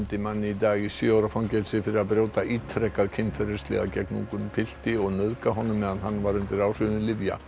mann í dag í sjö ára fangelsi fyrir að brjóta ítrekað kynferðislega gegn ungum pilti og nauðga honum meðan hann var undir áhrifum lyfja